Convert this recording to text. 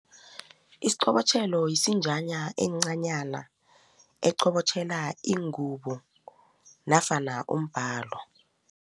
Isiqobotjhelo yisinjana encanyana eqobotjhela ingubo nofana umbhalo.